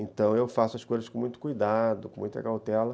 Então eu faço as coisas com muito cuidado, com muita cautela.